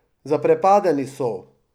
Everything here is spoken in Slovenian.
Zaprepadeni so.